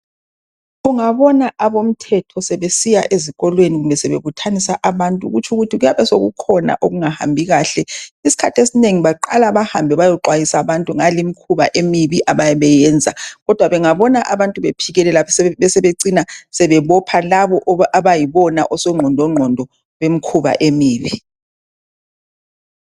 Ungabona abomthetho sebesiya ezikolweni kumbe sebebuthanisa abantu kuyabe sekukhona okungahambi kahle isikhathi esinengi baqala beyexhwayisa abantu ngale mikhuba eminengi abayabe beyiyenza Kodwa bengabona bephikelela yikho becina bebopha bonabo osogqondo ngqondo bemikhuba emibi